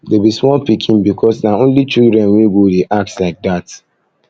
dey be small pikin because na only children wey go dey act like dat